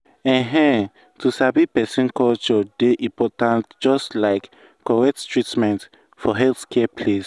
ehn to sabi person culture dey important just like correct treatment for healthcare place.